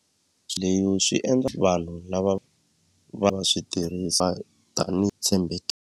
Leyo swi endla vanhu lava va nga swi tirhisa tanihi tshembeke.